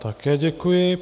Také děkuji.